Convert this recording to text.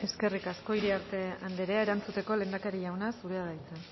eskerrik asko iriarte andrea erantzuteko lehendakari jauna zurea da hitza